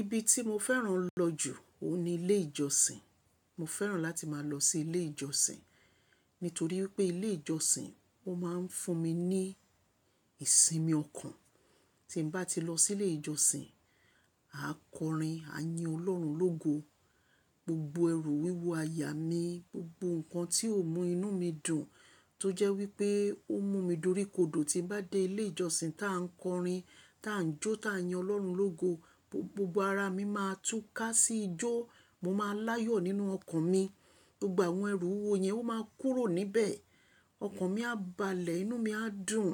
Ibi tí mo fẹ́ràn lọ jù óun ní ilé ìjọsìn. Mo fẹ́ràn láti máa lọ sí ilé ìjọsìn, nítorí wipé ilé ìjọsìn ó máa ń fún mi ní ìsinmi ọkàn. Tí mo bá ti lọ sí ilé ìjọsìn, àá kọrin, á yin Ọlọ́run lógo. Gbogbo ẹrù, wíwo aya mi, gbogbo nǹkan tí ó mú inú mi dùn tó jẹ́ wípé ó mú mi doríkodò tí n bá dé ilé ìjọsìn tá a ń kọrin, tá a ń jó, tá a yin Ọlọ́run lógo, gbogbo ara mi máa tú ká sí ijó. Mo máa n láyọ̀ nínú ọkàn mi. Gbogbo àwọn ẹrù, wíwo yẹn ó máa kúrò níbẹ̀. Ọkàn mi á balẹ̀, inú mi á dùn.